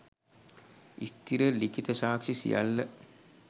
ස්ථිර ලිඛිත සාක්‍ෂි සියල්ල